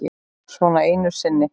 Svona einu sinni.